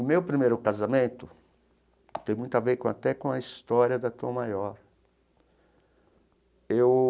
O meu primeiro casamento tem muito a ver até com a história da Tom Maior. Eu.